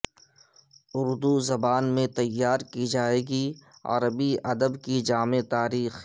اردو زبان میں تیار کی جائے گی عربی ادب کی جامع تاریخ